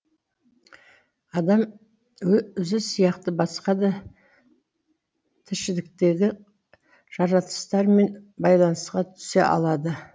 адам өзі сияқты басқа да тіршіліктегі жаратылыстармен байланысқа түсе алады